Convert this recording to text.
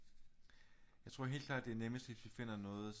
Jeg tror helt klart det er nemmest hvis vi finder noget